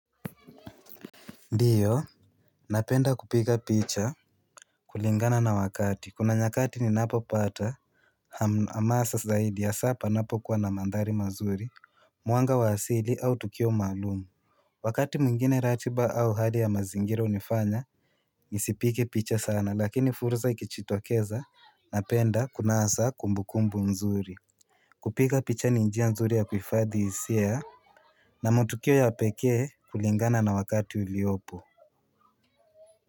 Ndiyo napenda kupiga picha kulingana na wakati, kuna nyakati ninapopata hamasa zaidi hasaa panapokuwa na mandhari mazuri Mwanga wa asili au tukio maalum Wakati mwingine ratiba au hali ya mazingira hunifanya Nisipige picha sana lakini fursa ikijitokeza Napenda kunasa kumbukumbu mzuri kupika picha ni njia nzuri ya kuhifadhi hisia na matukio ya pekee kulingana na wakati uliopo.